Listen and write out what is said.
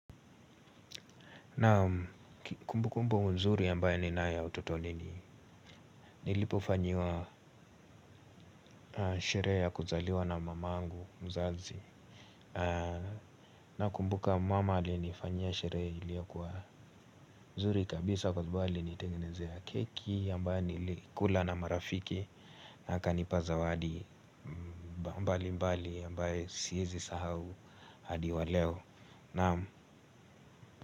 Naam kumbu kumbu nzuri ambaye ninayo utotoni ni nilipofanyiwa sherehe ya kuzaliwa na mamangu mzazi. Nakumbuka mama alinifanyia sherehe iliyo kuwa mzuri kabisa kwa mbali nitengenezea keki ambaye nilikula na marafiki. Na akanipa zawadi mbali mbali ambaye siezi sahau hadi wa leo. Naam.